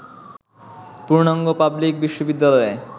পূর্ণাঙ্গ পাবলিক বিশ্ববিদ্যালয়ে